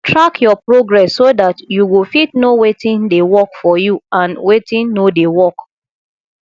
track your progress so dat you go fit know wetin dey work for you and wetin no dey work